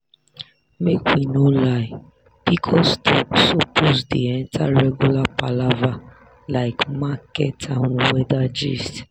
make we no lie pcos talk suppose dey enter regular palava like market and weather gist.